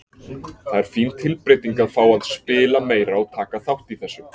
Það er fín tilbreyting að fá að spila meira og taka þátt í þessu.